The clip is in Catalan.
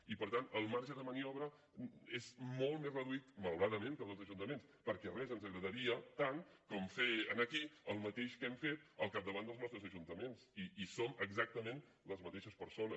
i per tant el marge de maniobra és molt més reduït malauradament que el dels ajuntaments perquè res ens agradaria tant com fer aquí el mateix que hem fet al capdavant dels nostres ajuntaments i som exactament les mateixes persones